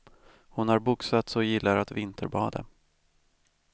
Hon har boxats och gillar att vinterbada.